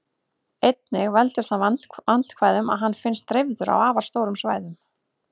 Einnig veldur það vandkvæðum að hann finnst dreifður á afar stórum svæðum.